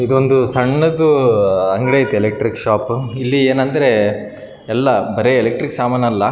ಬಲ್ಪ ಗೊಳ ಎಲ್ಲಾ ಇಲ್ಲಿ ಕಾಣಸ್ತಾ ಇವೆ .